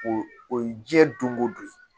O o ye jiɲɛ don ko don ye